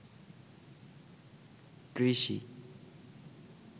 কৃষি